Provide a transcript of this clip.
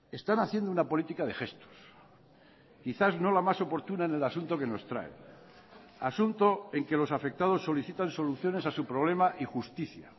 están haciendo una política de gestos quizás no la más oportuna en el asunto que nos trae asunto en que los afectados solicitan soluciones a su problema y justicia